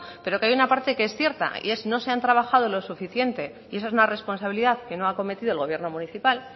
pero que hay una parte que es cierta no se han trabajado lo suficiente y eso es una responsabilidad que no ha acometido el gobierno municipal